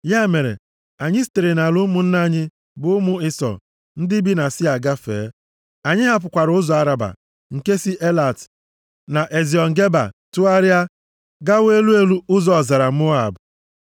Ya mere, anyị sitere nʼala ụmụnna anyị bụ ụmụ Ịsọ, + 2:8 Ụmụ Ịsọ Ha kwesiri ịkpọ ndị Edọm ụmụnna ha, nʼihi na nna nna ha bụ Ịsọ bụ nwanne Jekọb. \+xt Jen 25:24-26; Jos 24:4\+xt* ndị bi na Sia gafee. Anyị hapụkwara ụzọ Araba nke si Elat na Eziọn Geba, tụgharịa gawa elu elu ụzọ ọzara Moab.